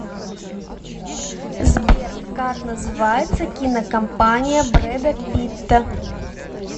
сбер как называется кинокомпания брэда питта